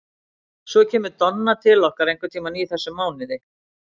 Svo kemur Donna til okkar einhvern tíman í þessum mánuði.